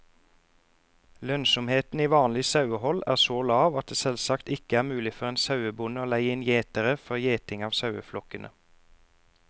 Lønnsomheten i vanlig sauehold er så lav at det selvsagt ikke er mulig for en sauebonde å leie inn gjetere for gjeting av saueflokkene.